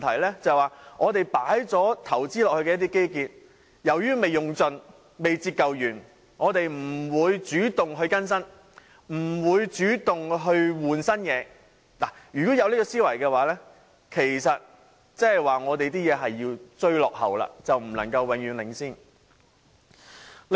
即由於我們已經作出投資的基建尚未盡用、未完全折舊，因此我們便不會主動作出更新——如果有這種思維，其實即是說我們只是在追落後，永遠不能領先。